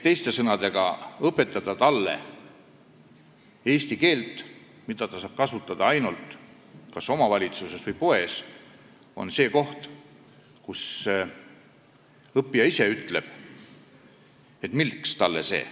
Teiste sõnadega, kui õpetada talle eesti keelt, mida ta saab kasutada ainult kas omavalitsuses või poes, siis see õppija ise ütleb, et milleks talle see.